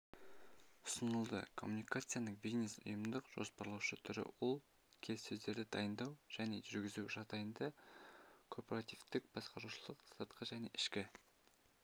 ұсынылды коммуникацияның бизнес-ұйымдық жоспарлаушы түрі ол келіссөздерді дайындау және жүргізу жағдайында корпоративтік басқарушылық сыртқы және ішкі